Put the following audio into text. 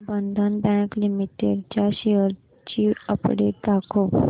बंधन bank limited च्या shares ची update दाखव